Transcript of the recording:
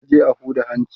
ta je a Huda hanci